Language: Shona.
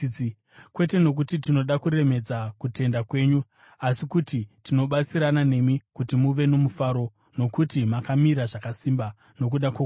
Kwete nokuti tinoda kuremedza kutenda kwenyu, asi kuti tinobatsirana nemi kuti muve nomufaro, nokuti makamira zvakasimba nokuda kwokutenda.